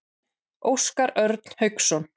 Óskar Örn Hauksson.